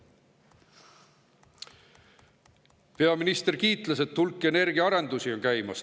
Peaminister kiitles, et hulk energiaarendusi on käimas.